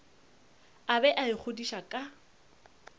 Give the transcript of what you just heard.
a bego a ikgodiša ka